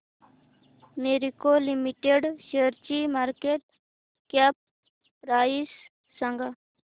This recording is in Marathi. मॅरिको लिमिटेड शेअरची मार्केट कॅप प्राइस सांगा